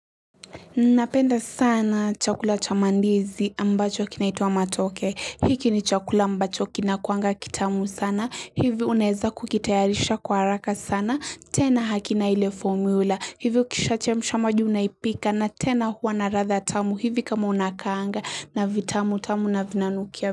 Napenda sana chakula cha mandizi ambacho kinaitwa matoke. Hiki ni chakula ambacho kinakuanga kitamu sana. Hivi unaeza kukitayarisha kwa haraka sana. Tena hakina ile formula. Hivi ukishachemsha maji unaipika na tena huwa na ladha tamu. Hivi kama unakaanga na vitamu tamu na vinanukia.